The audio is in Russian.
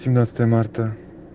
семнадцатое марта